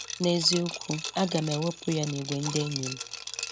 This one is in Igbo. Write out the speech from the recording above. N’eziokwu, aga m ewepụ ya n’ìgwè ndị enyi m.